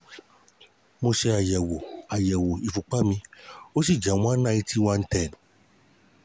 Mo ṣe àyẹ̀wò àyẹ̀wò ìfúnpá mi, ó sì jẹ́ one ninety one ten